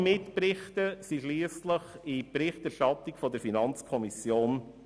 Alle Berichte flossen schliesslich in die Berichterstattung ein.